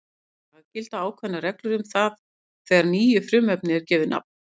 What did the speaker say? Í dag gilda ákveðnar reglur um það þegar nýju frumefni er gefið nafn.